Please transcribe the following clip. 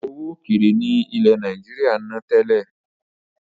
Owó ókéré ni ilẹ̀ Nàìjíríà ń ná tẹ́lẹ̀